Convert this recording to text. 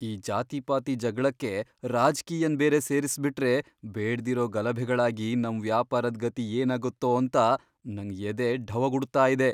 ಈ ಜಾತಿಪಾತಿ ಜಗ್ಳಕ್ಕೆ ರಾಜ್ಕೀಯನ್ ಬೇರೆ ಸೇರಿಸ್ಬಿಟ್ರೆ ಬೇಡ್ದಿರೋ ಗಲಭೆಗಳಾಗಿ ನಮ್ ವ್ಯಾಪಾರದ್ ಗತಿ ಏನಾಗತ್ತೋಂತ ನಂಗ್ ಎದೆ ಢವಗುಡ್ತಾಯಿದೆ.